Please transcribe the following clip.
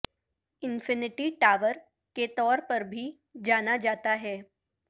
infinity Tower کے طور پر بھی جانا جاتا ہے